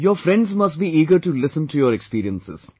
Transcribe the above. Your friends must be eager to listen to your experiences